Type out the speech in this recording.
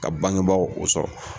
Ka bangebaaw u sɔrɔ.